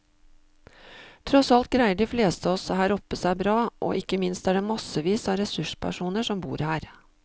Tross alt greier de fleste av oss her oppe seg bra, og ikke minst er det massevis av ressurspersoner som bor her.